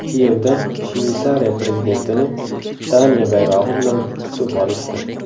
Kiyevda Shveysariya prezidentini Daniya bayrog‘i bilan kutib olishdi.